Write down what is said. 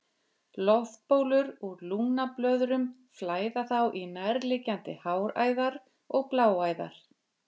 Loftbólur úr lungnablöðrum flæða þá í nærliggjandi háræðar og bláæðar.